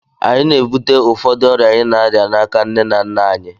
Anyị na-ebute ụfọdụ ọrịa anyị na-arịa n'aka nne na nna anyị